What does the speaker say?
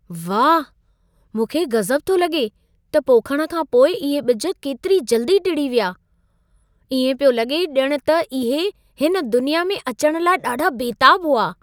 वाह, मूंखे गज़ब थो लॻे त पोखण खां पोइ इहे ॿिज केतिरी जल्दी टिड़ी विया। इएं पियो लॻे ॼणु त इहे हिन दुनिया में अचण लाइ ॾाढा बेताब हुआ!